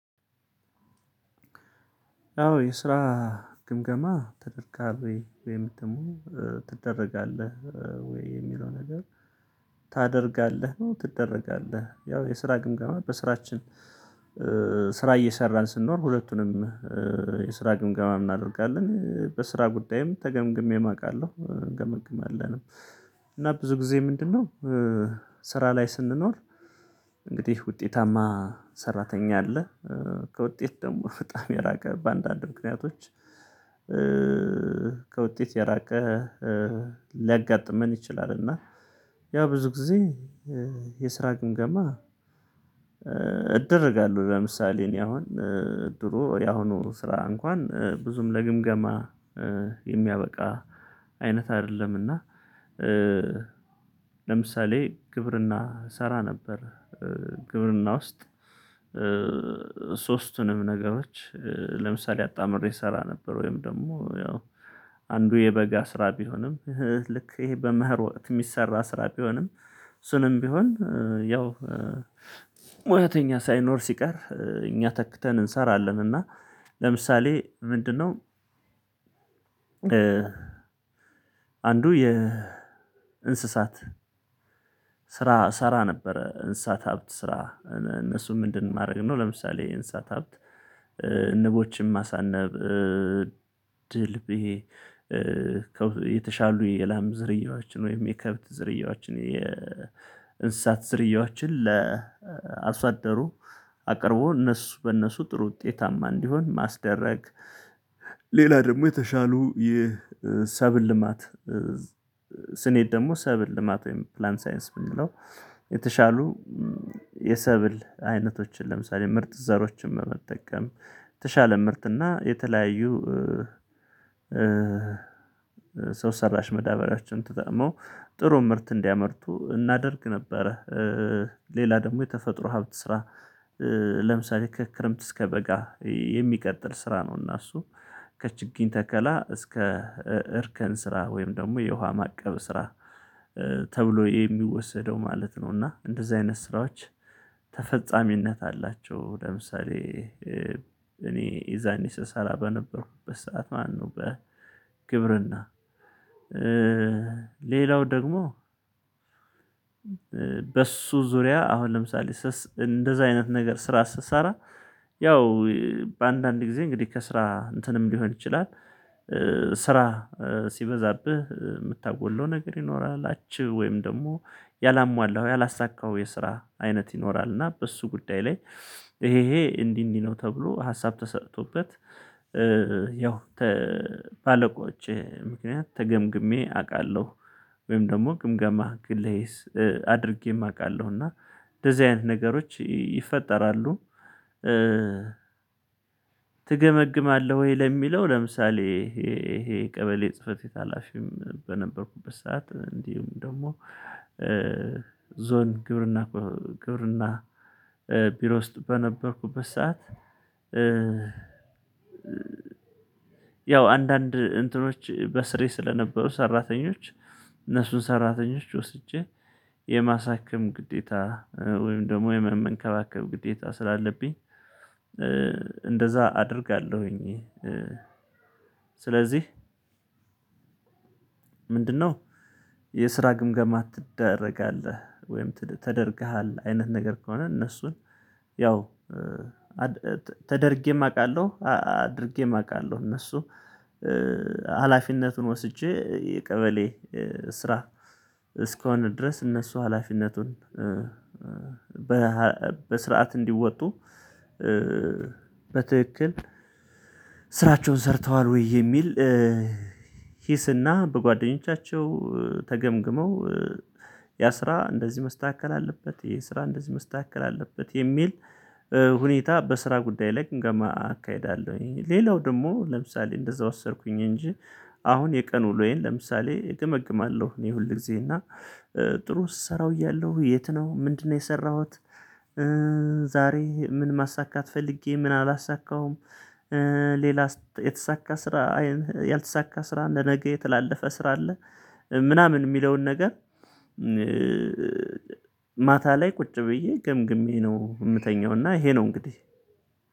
አዎ የስራ ግምገማ ተደርጋሪ ወይም ደግሞ ትደረጋለህ ወይ የሚለው ነገር ታደርጋለህ ነው። ትደረጋለህ ያው የስራ ግምጋማ በስራችን ስራ እየሰራን ስንኖር ሁለቱንም የስራ ግምገማ እናደርጋለን በስራ ጉዳይም ተገምግሜም አውቃለሁ ገመግም አለን እና ብዙ ጊዜ ምንድነው? ስራ ላይ ስንኖር እንግዲህ ውጤታማ ሰራተኛ አለ ከውጤት ደግሞ በጣም የራቀ በአንዳንድ ምክንያቶች ከውጤት የራቀ ሊያጋጥመን ይችላል። እና ያው ብዙ ጊዜ የስራ ግምገማ እደረጋለሁ ለምሳሌ እኔ አሁን ድሮ የአሁኑ ስራ እንኳን ብዙም ለግምገማ የሚያበቃ አይነት አይደለምና ለምሳሌ ግብርና እሰራ ነበር። ግብርና ውስጥ ሶስቱንም ነገሮች ለምሳሌ አጣምሬ እሰራ ነበር ወይም ደግሞ ያው አንዱ የበጋ ስራ ቢሆንም ልክ ይሄ በምህር ወጥ የሚሰራ ስራ ቢሆንም እሱንም ቢሆን ያው ሳይኖር ሲቀር እኛ ተክተን እንሰራለን እና ለምሳሌ ምንድነው አንዱ የእንስሳት እሰራ ነበረ። እንሳት ሀብት ስራ እነሱም ምንድን ማድረግ ነው? ለምሳሌ እንስሳት ሀብት ንቦችን ማሳነብ ድልብ የተሻሉ የላም ዝርያዎችን ወይም የከብት ዝርያዎችን የእንስሳት ዝርያዎችን ለአርሶአደሩ አቅርቦ እነሱ በእነሱ ጥሩ ውጤታማ እንዲሆን ማስደረግ። ሌላ ደግሞ የተሻሉ የሰብል ልማት ስንሄድ ደግሞ ሰብል ልማት ወይም ፕላን ሳይንስ ብንለው የተሻሉ የሰብል አይነቶችን ለምሳሌ ምርጥ ዘሮችን በመጠቀም ተሻለ ምርትና የተለያዩ ሰው ሰራሽ መዳበሪያችን ተጠቅመው ጥሩ ምርት እንዲያመርቱ እናደርግ ነበረ። ሌላ ደግሞ የተፈጥሮ ሀብት ስራ ለምሳሌ ከክረምት እስከ በጋ የሚቀጥል ስራ ነው። እና እሱ ከችግኝ ተከላ እስከ እርከን ስራ ወይም ደግሞ የውሃ ማቀብ ስራ ተብሎ የሚወሰደው ማለት ነው። እና እንደዚህ አይነት ስራዎች ተፈጻሚነት አላቸው። ለምሳሌ እኔ የዛኔ ስሰራ በነበርኩበት ሰዓት ማነው በግብርና ደግሞ በሱ ዙሪያ አሁን ለምሳሌ እንደዛ አይነት ነገር ስራ ስትሰራ ያው በአንዳንድ ጊዜ እንግዲህ ከስራ እንትንም ሊሆን ይችላል። ስራ ሲበዛብህ የምታውቀው ነገር ይኖራል አችሁ ወይም ደግሞ ያላሟላኸው ያላሳካው የስራ አይነት ይኖራል እና በሱ ጉዳይ ላይ ይሄ ይሄ እንዲህ እንዲህ ነው ተብሎ ሀሳብ ተሰጥቶበት ያው ባለቆች ምክንያት ተገምግሜ አውቃለሁ። ወይም ደግሞ ግምገማ ግሌስ አድርጌም አውቃለሁ እና እንደዚህ አይነት ነገሮች ይፈጠራሉ። ትገመግማለህ ወይ? ለሚለው ለምሳሌ ይሄ ይሄ ቀበሌ ጽህፈት ቤት ሀላፊም በነበርኩበት ሰዓት እንዲሁም ደግሞ ዞን ግብርና ግብርና ቢሮ ውስጥ በነበርኩበት ሰዓት ያው አንዳንድ እንትኖች በስሬ ስለነበሩ ሰራተኞች እነሱን ሰራተኞች ወስጄ የማሳክም ግዴታ ወይም ደግሞ የመመንከባከብ ግዴታ ስላለብኝ እንደዛ አደርጋለሁኝ። ስለዚህ ምንድነው? የስራ ግምገማ ትደረጋለህ ወይም ተደርገሃል አይነት ነገር ከሆነ እነሱን ያው ተደርጌም አውቃለሁ አድርጌም አውቃለሁ እነሱ ሀላፊነቱን ወስጄ የቀበሌ ስራ እስኮነ ድረስ እነሱ ሀላፊነቱን በስርዓት እንዲወጡ በትክክል ስራቸውን ሰርተዋል ወይ የሚል ሂስና በጓደኞቻቸው ተገምግመው ያ ስራ እንደዚህ መስተካከል አለበት የስራ እንደዚህ መስተካከል አለበት የሚል ሁኔታ በስራ ጉዳይ ላይ ግምገማ አካሂዳለሁኝ። ሌላው ደግሞ ለምሳሌ እንደዛ ወሰድኩኝ እንጂ አሁን የቀኑ ውሎዬን ለምሳሌ እገመግማለሁ እኔ ሁል ጊዜ እና ጥሩ ስሰራው እያለሁ የት ነው ምንድነው የሰራሁት? ምን ማሳካት ፈልጌ ምን አላሳካውም። ሌላ የተሳካ ስራ ያልተሳካ ስራ ለነገ የተላለፈ ስራ አለ። ምናምን የሚለውን ነገር ማታ ላይ ቁጭ ብዬ ገምግሜ ነው የምተኛው እና ይሄ ነው እንግዲህ።